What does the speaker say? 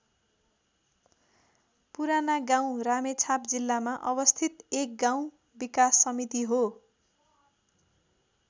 पुरानागाउँ रामेछाप जिल्लामा अवस्थित एक गाउँ विकास समिति हो।